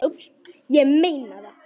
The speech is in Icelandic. Ég meina það!